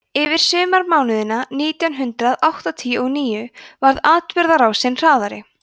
yfir sumarmánuðina nítján hundrað áttatíu og níu varð atburðarásin hraðari